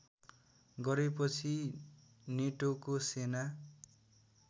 गरेपछि नेटोको सेना